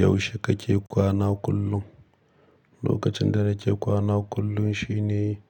Yaushe kake kwana kullum? Lokacin da nake kwana kullum shine